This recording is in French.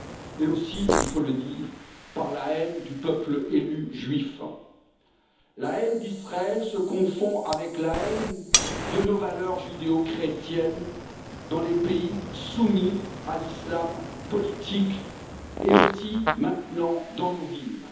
et aussi il faut le dire par la haine du peuple élu juif. La haine d'Israël se confond avec la haine de nos valeurs judéo-chrétiennes dans les pays soumis à l'islam politique et aussi, maintenant, dans nos villes.